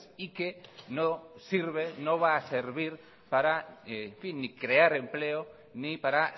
y que no sirve no va a servir ni para crear empleo ni para